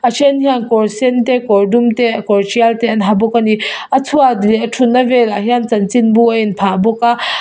a then hian kawr sen kawr dum te kawr tial te an ha bawk ani a chhuat leh a thut na velah hian chanchinbu a in phah bawk a.